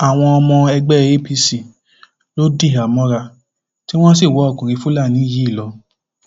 àwọn ọmọ ẹgbẹ apc ló dìhámọra tí wọn sì wá ọkùnrin fúlàní yìí lọ